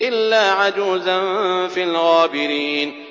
إِلَّا عَجُوزًا فِي الْغَابِرِينَ